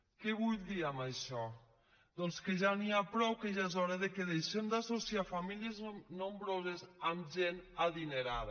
què vull dir amb això doncs que ja n’hi ha prou que ja és hora que deixem d’associar famílies nombroses amb gent adinerada